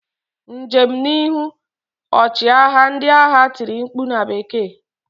Njem n'ihu! Ọchịagha ndị agha tiri mkpu na bekee.